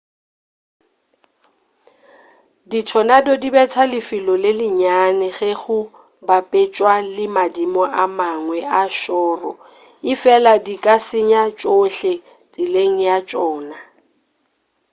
dithonado di betha lefelo le lenyane ge go bapetšwa le madimo a mangwe a šoro efela di ka senya tšhohle tseleng ya tšona